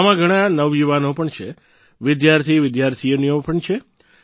આમાં ઘણાં નવયુવાનો પણ છે વિદ્યાર્થીવિદ્યાર્થીનીઓ પણ છે